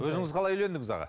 өзіңіз қалай үйлендіңіз аға